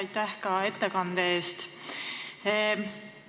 Aitäh ka ettekande eest!